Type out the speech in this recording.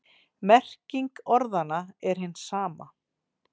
Merking orðanna er hin sama.